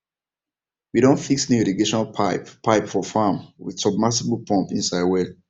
we don fix new irrigation pipe pipe for farm with submersible pump inside well